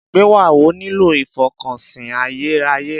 Ìgbéyàwó nílò ìfọkànsìn ayérayé.